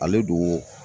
Ale don